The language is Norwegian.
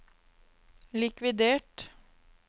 likvidert